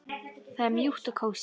Það er mjúkt og kósí.